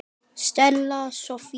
Stella Soffía.